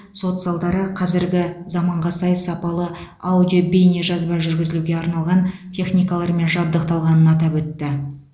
сот залдары қазіргі заманға сай сапалы аудио бейне жазба жүргізілуге арналған техникалармен жабдықталғанын атап өтті